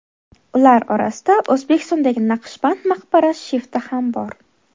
Ular orasida O‘zbekistondagi Naqshband maqbarasi shifti ham bor.